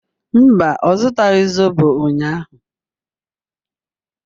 Mba, ọ zụtaghị zobo ụnyahụ